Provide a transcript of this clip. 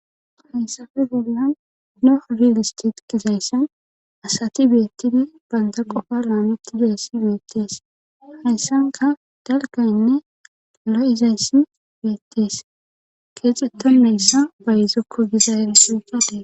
Haysafe bollan no rilistit gizaysion asati beettidi baynda qofa raameti deyssi beettees hessanka dalgaynne lo'izayssi beettees keexetto meyssa bayzokko gizayel suqadee.